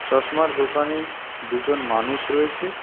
চশমার দোকানে দুজন মানুষ রয়েছে.